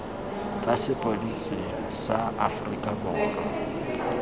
tsa sepodisi sa aforika borwa